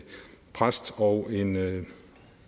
præst og en